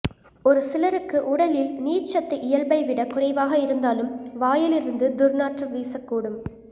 ஒரு சிலருக்கு உடலில் நீர்ச்சத்து இயல்பை விட குறைவாக இருந்தாலும் வாயிலிருந்து துர்நாற்றம் வீசக்கூடும்